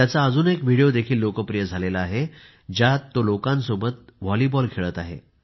त्याचा अजून एक व्हिडिओ देखील लोकप्रिय झाला आहे ज्यात तो लोकांसोबत वॉलीबॉल खेळत आहे